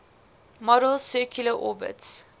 model's circular orbits